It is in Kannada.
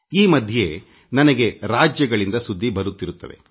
ಈ ದಿನಗಳಲ್ಲಿ ನಾನು ನಮ್ಮ ರಾಜ್ಯಗಳಿಂದ ಸುದ್ದಿ ಸ್ವೀಕರಿಸುತ್ತಿದ್ದೇನೆ